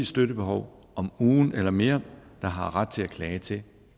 støttebehov om ugen eller mere der har ret til at klage til